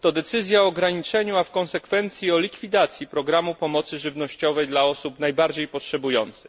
to decyzja o ograniczeniu, a w konsekwencji o likwidacji programu pomocy żywnościowej dla osób najbardziej potrzebujących.